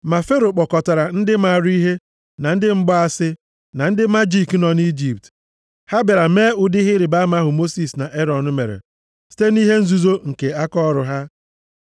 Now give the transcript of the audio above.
Ma Fero kpọkọtara ndị maara ihe, na ndị mgbaasị, na ndị majiki nọ nʼIjipt. Ha bịara mee ụdị ihe ịrịbama ahụ Mosis na Erọn mere site nʼihe nzuzo nke akaọrụ ha.